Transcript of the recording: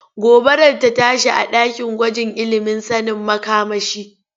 Gobara rta tashi a ɗakin gwajin ilimin sanin makamashi.